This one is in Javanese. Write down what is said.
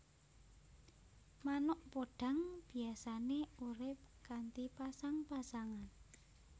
Manuk podhang biyasané urip kanthi pasang pasangan